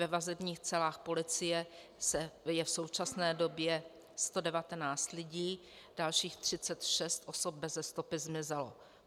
Ve vazebních celách policie je v současné době 119 lidí, dalších 36 osob beze stopy zmizelo.